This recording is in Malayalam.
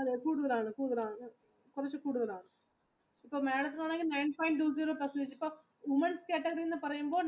അതെ കൂടുതലാണ് women category എന്ന് പറയുമ്പോൾ